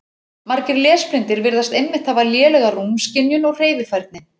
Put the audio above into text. Margir lesblindir virðast einmitt hafa lélega rúmskynjun og hreyfifærni.